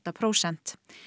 prósent